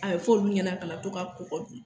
A bɛ fɔ olu ɲɛna u kana to ka kɔgɔ dun